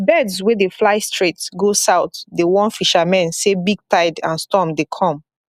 birds wey dey fly straight go south dey warn fishermen say big tide and storm dey come